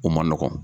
O man nɔgɔn